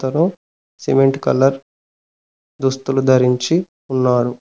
Cement colour దుస్తులు ధరించి ఉన్నారు.